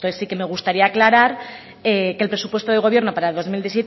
entonces sí que me gustaría aclarar que el presupuesto del gobierno para el dos mil